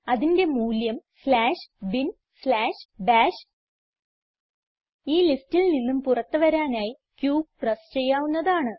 അതിന്റെ മൂല്യം slash bin slash bash ഈ ലിസ്റ്റിൽ നിന്ന് പുറത്ത് വരാനായി q പ്രസ് ചെയ്യാവുന്നതാണ്